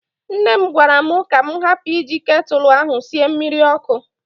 Nne m gwara m ka m hapụ iji ketụlụ ahụ sie mmiri ọkụ.